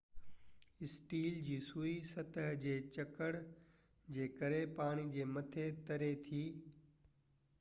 steel جي سوئي سطح جي جڪڙ جي ڪري پاڻي جي مٿي تري ٿي